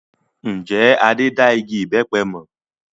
Ǹjẹ́ Adé da igi ìbẹpẹ mọ?